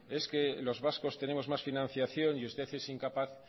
es que los vascos tenemos más financiación y usted es incapaz